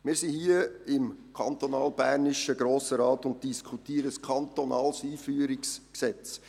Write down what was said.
Wir sind hier im kantonalbernischen Grossen Rat und diskutieren ein kantonales Einführungsgesetz.